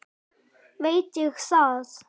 Veit ég það?